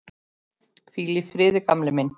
Hvíl í friði, gamli minn.